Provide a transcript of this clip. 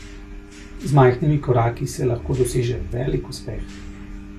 Z majhnimi koraki se lahko doseže velik uspeh ...